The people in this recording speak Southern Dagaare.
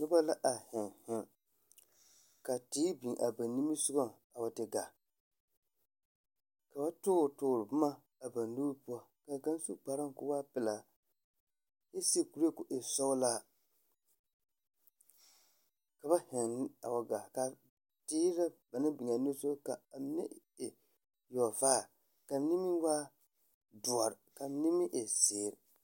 Noba la a heŋ heŋ! Ka teere biŋ a ba nimisogɔŋ a te gaa. Ka ba toore toore boma a ba nuuri poɔ ka kaŋ su kparoŋ ko waa pelaa kyɛ seɛ kuree ko e sɔglaa, ka ba heŋ a wa gaa kaa teere ra ba naŋ biŋaa nimisoga kaa mine e yɔgevaare kaa mine meŋ waa doɔre kaa mine meŋ e zeere.